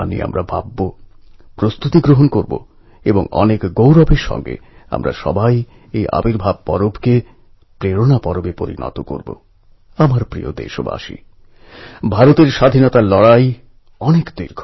নিজের গ্রাম নিজের শিকড়ের সঙ্গে এই যোগ এবং নিজের দেশের জন্য কিছু করে দেখাবার এই মানসিকতা সব ভারতবাসীর মধ্যে স্বাভাবিক ভাবেই রয়েছে